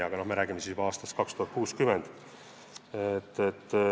Aga me räägime siis juba aastast 2060.